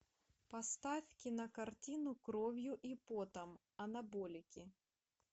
поставь кинокартину кровью и потом анаболики